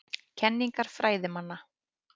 Kenningar fræðimanna.